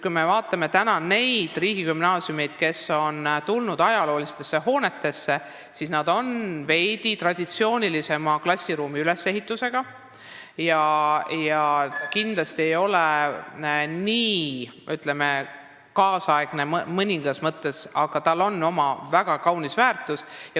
Kui me vaatame neid riigigümnaasiume, mis on ajaloolistes hoonetes, siis näeme, et need on veidi traditsioonilisema klassiruumide ülesehitusega ja kindlasti ei ole nad nii, ütleme, tänapäevased mõningas mõttes, aga neil hoonetel on oma väärtus.